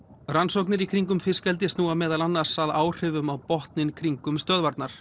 rannsóknir í kringum fiskeldi snúa meðal annars af áhrifum á botninn kringum stöðvarnar